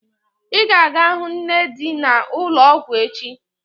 Ị ga-aga hụ nne di na ulo ọgwụ echi